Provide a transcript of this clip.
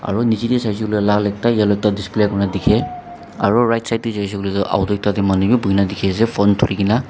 aru nichae tae saisey koiley lal ekta yellow ekta display kurina dikhae aro right side tae jaishey koilae auto ekta taemanu bi buhikae nadikhiase phone dhurikaena.